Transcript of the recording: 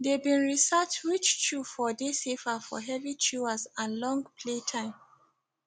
they been research which chew for dey safer for heavy chewers and long play time